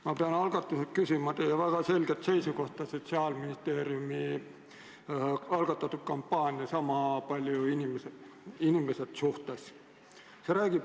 Ma pean algatuseks küsima teie väga selget seisukohta Sotsiaalministeeriumi algatatud kampaania "Sama palju inimesed" suhtes.